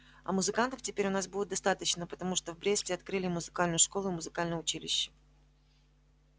а музыкантов теперь у нас будет достаточно потому что в бресте открыли и музыкальную школу и музыкальное училище